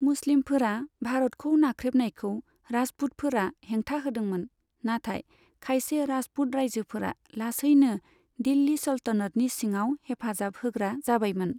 मुस्लिमफोरा भारतखौ नाख्रेबनायखौ राजपुतफोरा हेंथा होदोंमोन, नाथाय खायसे राजपुत रायजोफोरा लासैनो दिल्लि सल्तनतनि सिङाव हेफाजाहोग्रा जाबायमोन।